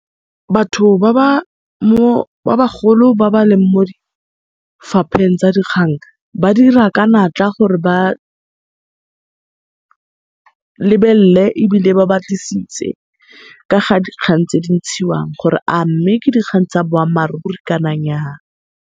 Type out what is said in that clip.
Batho ba ba mo, ba bagolo ba ba leng mo difapheng tsa dikgang, ba dira ka natla gore ba lebelle ebile ba batlisise ka ga dikgang tse di ntshiwang gore a mme ke dikgang tsa boammaaruri kana nyaa.